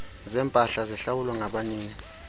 zempahla zihlawulwa ngabanini